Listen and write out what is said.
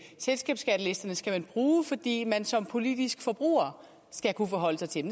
selskabsskattelisterne skal man bruge fordi man som politisk forbruger skal kunne forholde sig til